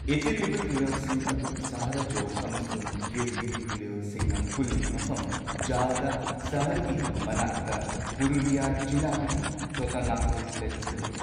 ꯏꯇꯤꯜꯂꯤꯕ ꯇꯨꯔꯦꯜꯁꯤꯡ ꯑꯗꯨ ꯁꯥꯍꯔꯖꯣꯔ ꯑꯃꯁꯨꯡ ꯒꯤꯔꯒꯤꯔꯤ ꯇꯨꯔꯦꯜꯁꯤꯡꯅ ꯄꯨꯜꯂꯤꯕ ꯃꯐꯝ, ꯖꯥꯜꯗ ꯁꯍꯔꯒꯤ ꯃꯅꯥꯛꯇ ꯄꯨꯔꯨꯂꯤꯌꯥ ꯖꯤꯂꯥꯒꯤ ꯆꯣꯇꯥ ꯅꯥꯒꯄꯨꯔ ꯄ꯭ꯂꯦꯇꯨꯗ ꯂꯩ꯫